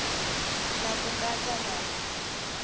na c ku katsa na